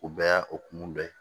O bɛɛ y'a o kun dɔ ye